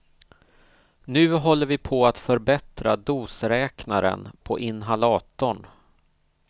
Nu håller vi på att förbättra dosräknaren på inhalatorn.